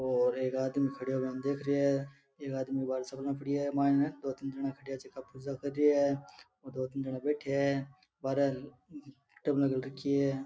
और एक आदमी खड़ो बान देख रिया है एक आदमी बाहर सामने खड़िया है मायने दो तीन जाणा खड़ा जका पूजा कर रेया है दो तीन जणा बैठा है बारे टेबल घाल राखी है।